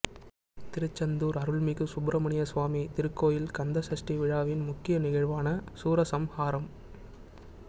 திருச்செந்தூர் அருள்மிகு சுப்பிரமணிய சுவாமி திருக்கோயில் கந்த சஷ்டி விழாவின் முக்கிய நிகழ்வான சூரசம்ஹாரம்